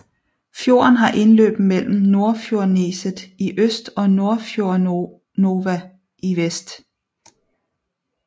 Fjorden har indløb mellem Nordfjordneset i øst og Nordfjordnøva i vest